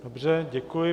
Dobře, děkuji.